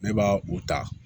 Ne b'a u ta